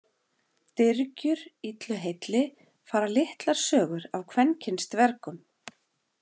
Dyrgjur Illu heilli fara litlar sögur af kvenkyns dvergum.